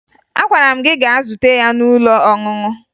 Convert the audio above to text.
Agwara m gị gaa zute ya n'ụlọ ọṅụṅụ!